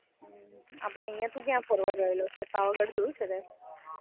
આપડે અહિયાં તું કયા ફરવા ગયેલો છે? પાવાગઢ જોયું છે તે?